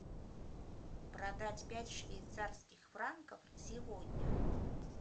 продать пять швейцарских франков сегодня